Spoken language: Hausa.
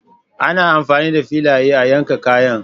Ana amfani da filaye a yankan kayan.